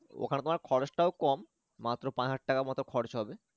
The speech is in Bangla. ওখানে তোমার খরচটাও কম মাত্র পাঁচ হাজার টাকার মত খরচ হবে